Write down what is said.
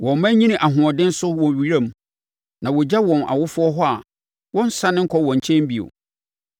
Wɔn mma nyini ahoɔden so wɔ wiram; na wɔgya wɔn awofoɔ hɔ a wɔnnsane nkɔ wɔn nkyɛn bio.